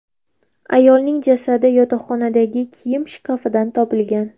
Ayolning jasadi yotoqxonadagi kiyim shkafidan topilgan.